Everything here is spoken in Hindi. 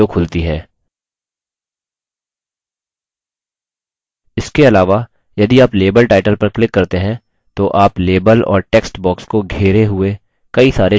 इसके अलावा यदि आप लेबल title पर क्लिक करते हैं तो आप लेबल और टेक्स्ट बॉक्स को घेरे हुए कई सारे छोटे हरे बॉक्स देखेंगे